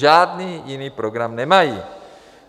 Žádný jiný program nemají.